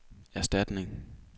erstatning